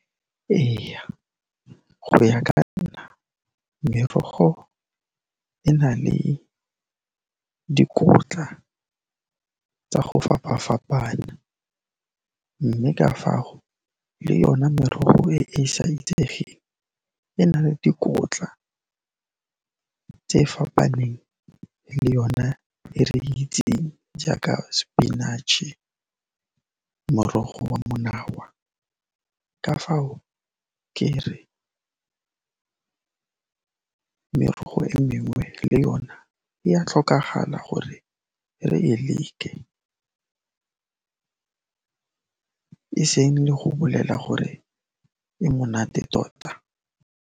Eya, go ya ka nna merogo e na le dikotla tsa go fapa-fapana, mme ka fao le yona merogo e e sa itsegeng e na le dikotla tse fapaneng le yona e re e itseng jaaka spinach-e, morogo wa monawa. Ka fao, ke re merogo e mengwe le yone e a tlhokagala gore re e leke, e seng le go bolela gore e monate tota.